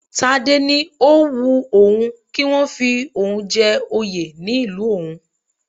Tádé ni ó wun òun kí wọ́n fi oun jẹ́ oyè ní ìlú òun